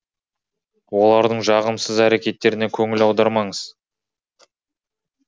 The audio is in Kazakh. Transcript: олардың жағымсыз әрекеттеріне көңіл аудармаңыз